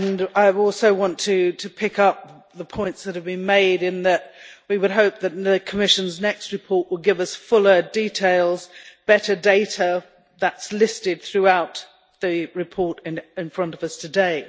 I also want to pick up the points that have been made in that we would hope that the Commission's next report will give us fuller details and better data. That is listed throughout the report in front of us today.